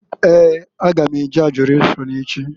Ee! A ga m e je Adọrashọn echi.